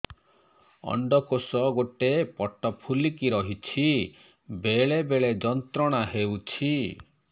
ଅଣ୍ଡକୋଷ ଗୋଟେ ପଟ ଫୁଲିକି ରହଛି ବେଳେ ବେଳେ ଯନ୍ତ୍ରଣା ହେଉଛି